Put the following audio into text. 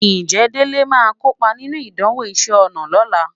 Ǹjẹ́ Délé máa kópa nínú ìdánwò iṣẹ́ ọnà lọ́la?